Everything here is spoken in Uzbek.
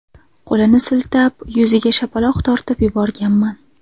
Qo‘lini siltab, yuziga shapaloq tortib yuborganman.